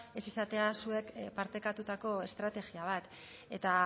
ez izatea zuek partekatutako estrategia bat eta